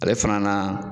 Ale fana na